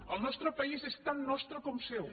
el nostre país és tan nostre com seu